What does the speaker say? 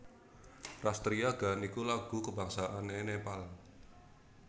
Ras Triya Gaan iku lagu kabangsané Nepal